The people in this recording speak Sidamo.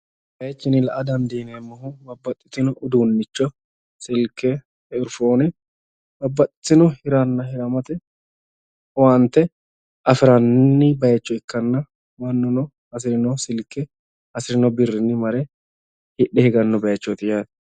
Ko baayiichinni la"a danddiineemmohu babbaxitino uduunnicho silkke, eerifoone babbaxitino hiranna hiramate owaante afiranni baayicho ikkanna mannuno hasirino silke hasirino birrinni mare hidhe higanno baayiichooti yaate.